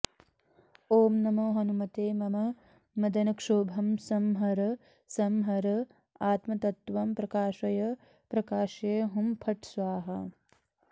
ॐ नमो हनुमते मम मदनक्षोभं संहर संहर आत्मतत्त्वं प्रकाशय प्रकाशय हुं फट् स्वाहा